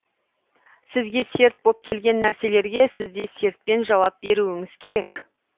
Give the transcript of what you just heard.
сізге серт боп келген нәрселерге сізде сертпен жауап беруіңіз керек